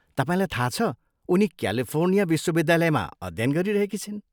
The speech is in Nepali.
तपाईँलाई थाहा छ, उनी क्यालिफोर्निया विश्वविद्यालयमा अध्य्यन गरिरहेकी छिन्।